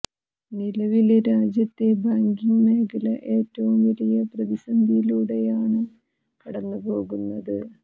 നിലവില് രാജ്യത്തെ ബാങ്കിങ് മേഖല ഏറ്റവും വലിയ പ്രതിസന്ധിയിലൂടെയാണ് കടന്നു പോകുന്നത്